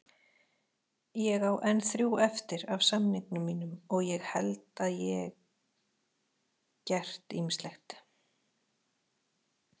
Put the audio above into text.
Ég á enn þrjú eftir af samningnum mínum og ég held að ég gert ýmislegt.